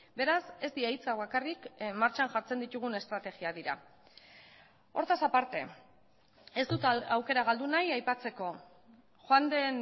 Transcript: beraz ez dira hitzak bakarrik martxan jartzen ditugun estrategiak dira hortaz aparte ez dut aukera galdu nahi aipatzeko joan den